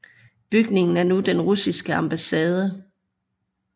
Bygningen er nu den russiske ambassade